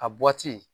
A bɔti